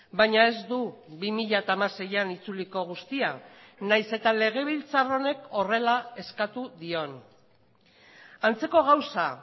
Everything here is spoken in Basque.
baina ez du bi mila hamaseian itzuliko guztia nahiz eta legebiltzar honek horrela eskatu dion antzeko gauza